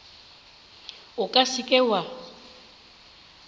o ka se ke wa